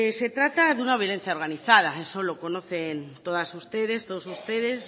se trata de una violencia organizada eso lo conocen todas ustedes todos ustedes